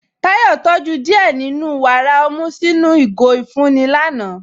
Táyọ̀ tójú díẹ́ nínú wára ọmú sinu àwọn igó ifunni lànà.